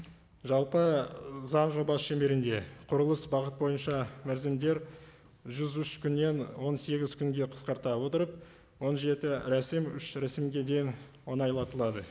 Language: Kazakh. жалпы заң жобасы шеңберінде құрылыс бағыт бойынша мерзімдер жүз үш күннен он сегіз күнге қысқарта отырып он жеті рәсім үш рәсімге дейін оңайлатылады